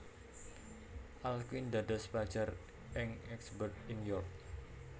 Alkuin dados pelajar ing Ecgbert ing York